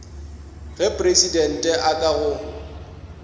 ge presidente a ka go